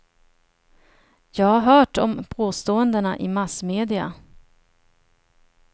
Jag har hört om påståendena i massmedia.